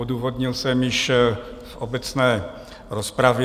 Odůvodnil jsem již v obecné rozpravě.